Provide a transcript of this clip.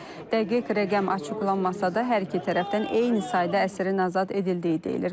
Dəqiq rəqəm açıqlanmasa da, hər iki tərəfdən eyni sayda əsirin azad edildiyi deyilir.